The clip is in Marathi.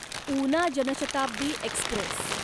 उना जनशताब्दी एक्स्प्रेस